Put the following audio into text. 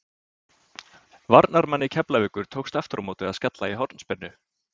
Varnarmanni Keflavíkur tókst aftur á móti að skalla í hornspyrnu.